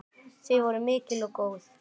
Þau voru mikil og góð.